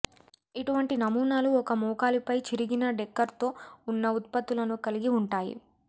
ఇటువంటి నమూనాలు ఒక మోకాలిపై చిరిగిన డెకర్తో ఉన్న ఉత్పత్తులను కలిగి ఉంటాయి